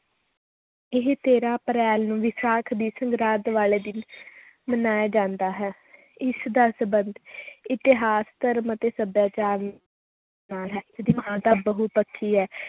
ਇਹ ਤੇਰਾਂ ਅਪ੍ਰੈਲ ਨੂੰ ਵਿਸਾਖ ਦੀ ਸੰਗਰਾਂਦ ਵਾਲੇ ਦਿਨ ਮਨਾਇਆ ਜਾਂਦਾ ਹੈ ਇਸ ਦਾ ਸੰਬੰਧ ਇਤਿਹਾਸ, ਧਰਮ ਅਤੇ ਸਭਿਆਚਾਰ ਨਾਲ ਹੈ ਬਹੁਪੱਖੀ ਹੈ